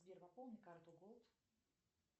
сбер пополни карту голд